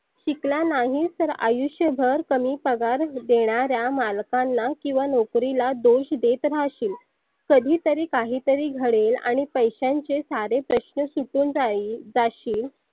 शिकला नाही तर आयुष्य भर कमी पगार देणाऱ्या मालकांलाच किंवा नोकरीलाच दोष देत राहशील. कधी तरी काही तरी घडेल आणि पैश्यांचे सारे प्रश्न सुटुन जाईल जाशील.